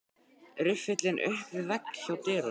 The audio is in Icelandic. Riffillinn upp við vegg hjá dyrunum.